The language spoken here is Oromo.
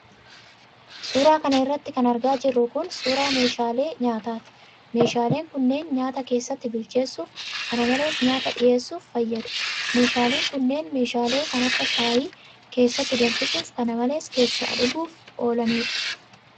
Suura kana irratti kan argaa jirru kun, suura meeshaalee nyaataati. Meeshaaleen kunneen ,nyaata keessatti bilcheessuuf kana malees nyaata dhiheessuf fayyadu. Meeshaaleen kunneen, meeshalee kan akka shaayii keessatti danfisuuf kana malees keessa dhuguuf oolanii dha.